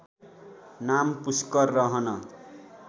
नाम पुश्कर रहन